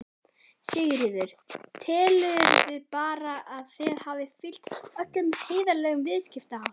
Sigríður: Telurðu bara að þið hafið fylgt öllum heiðarlegum viðskiptaháttum?